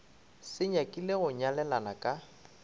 se nyakile go nyalelana ka